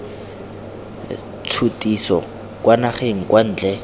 tshutiso kwa dinageng kwa ntle